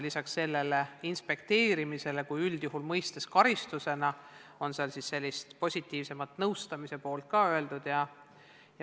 Peale inspekteerimise, mida üldjuhul mõistetakse karistusena, on seal ka sellist positiivsemat, nõustamise poolt.